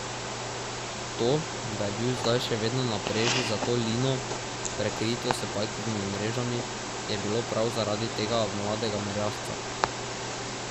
To, da je bil zdaj še vedno na preži za to lino, prekrito s pajkovimi mrežami, je bilo prav zaradi tega mladega merjasca.